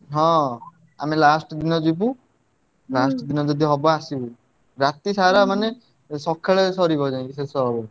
ହଁ ଆମେ last ଦିନ ଯିବୁ last ଦିନ ଯଦି ହବ ଆସିବୁ, ରାତିସାରା ମାନେ ସକାଳେ ସାରିବ ଯାଇଁ ମାନେ ଶେଷ ହବ।